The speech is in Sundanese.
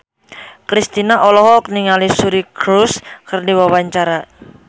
Kristina olohok ningali Suri Cruise keur diwawancara